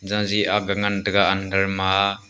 jaji ag ngan taga under ma a.